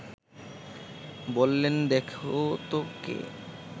বললেন দেখো তো কে